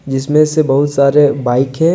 जिसमें से बहुत सारे बाइक है।